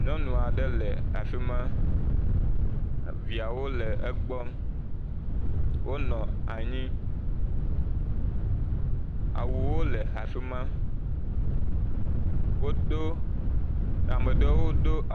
Nyɔnu aɖe le afi ma. Eviawo le egbɔ. Wonɔ anyi awuwo le afi ma. Wodo ame aɖewo wodo…